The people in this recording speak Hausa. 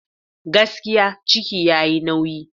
Gaskiya! ciki yayi nauyi.